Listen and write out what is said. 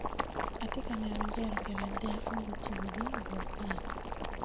Atye ka neno jerican adek magicibogi i but ot.